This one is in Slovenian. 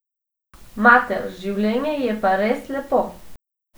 Mater, življenje je pa res lepo!